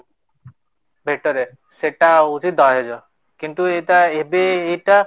ଭେଟରେ ସେଟା ହୋଉଛି ଦହେଜ, କିନ୍ତୁ ଏଟା ଏବେ ଏଟା